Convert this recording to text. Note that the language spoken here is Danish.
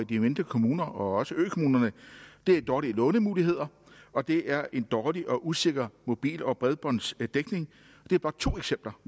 de mindre kommuner og også økommunerne det er dårlige lånemuligheder og det er en dårlig og usikker mobil og bredbåndsdækning det er bare to eksempler